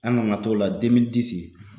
An nana t'o la demili disi